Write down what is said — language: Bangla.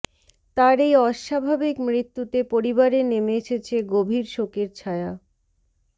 তার এই অস্বাভাবিক মৃত্যুতে পরিবারে নেমে এসেছে গভীর শোকের ছায়া